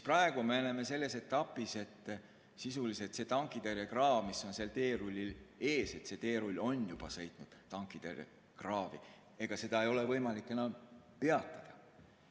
Praegu me oleme selles etapis, et sisuliselt on tankitõrjekraav teerullil ees, teerull on juba sõitnud tankitõrjekraavi, seda ei ole võimalik enam peatada.